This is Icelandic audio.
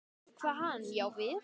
Kvað hann já við.